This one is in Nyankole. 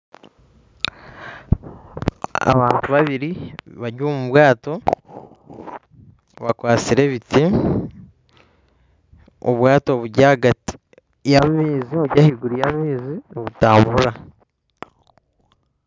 Abantu babiiri bari omu bwaato bakwatsire ebiti, obwaato buri ahaiguru y'amaizi nibitambura.